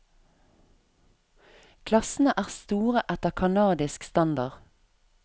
Klassene er store etter canadisk standard.